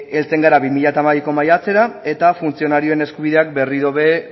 heltzen gara bi mila hamabiko maiatzera eta funtzionarioen eskubideak berriro ere